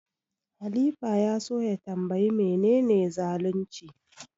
Halifa ya so ya tanbayi menene zalunci.